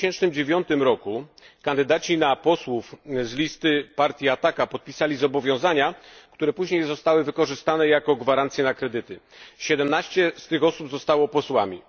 W 2009 roku kandydaci na posłów z listy partii Ataka podpisali zobowiązania, które później zostały wykorzystane jako gwarancje na kredyty. 17 z tych osób zostało posłami.